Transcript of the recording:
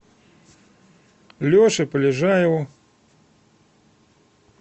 леше полежаеву